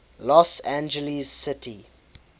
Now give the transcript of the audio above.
los angeles city